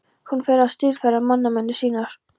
Hún fer að stílfæra mannamyndir sínar.